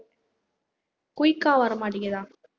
quick ஆ வரமாட்டேங்கிதா